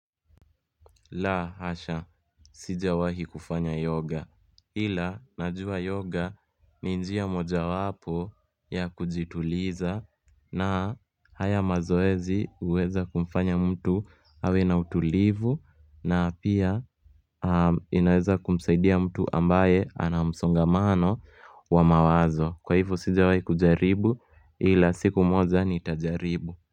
La hasha sijawahi kufanya yoga ila najua yoga ni njia moja wapo ya kujituliza na haya mazoezi huweza kumfanya mtu awe na utulivu na pia inaweza kumsaidia mtu ambaye ana msongamano wa mawazo Kwa hivyo sijawahi kujaribu ila siku moja nitajaribu.